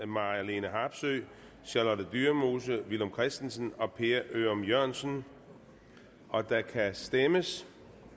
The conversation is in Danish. marlene harpsøe charlotte dyremose villum christensen og per ørum jørgensen og der kan stemmes